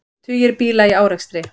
Tugir bíla í árekstri